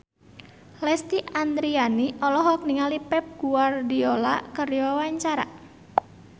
Lesti Andryani olohok ningali Pep Guardiola keur diwawancara